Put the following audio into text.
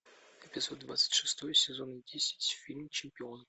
эпизод двадцать шестой сезон десять фильм чемпион